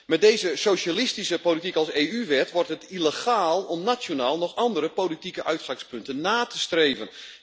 Met deze socialistische politiek als EU wet, wordt het illegaal om nationaal nog andere politieke uitgangspunten na te streven.